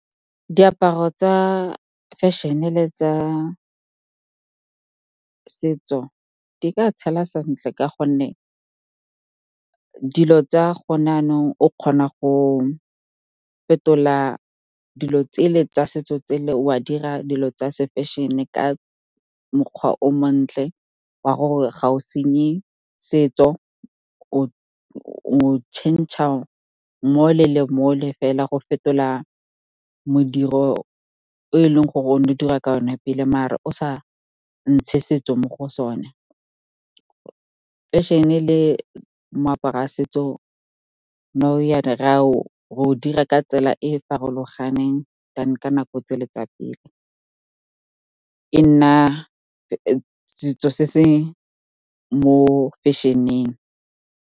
Diaparo tsa fashion-e le tsa setso di ka tshela sentle, ka gonne dilo tsa gone yaanong o kgona go fetola dilo tsele tsa setso tsele o a dira dilo tsa se-fashion-e ka mokgwa o montle wa gore ga o senye setso o change-a mole le mole fela go fetola modiro o e leng gore o ne o dirwa ka one pele mare o sa ntshe setso mo go sone. Fashion-e le moaparo wa setso, nou re o dira ka tsela e e farologaneng than ka nako tse le tsa pele, e nna setso se se mo fashion-eng.